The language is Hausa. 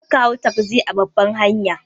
Karka hau tagzi a babbar hanya.